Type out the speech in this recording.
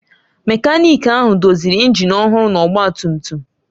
Mekaniki ahụ doziri injin ọhụrụ na ọgba tum tum m.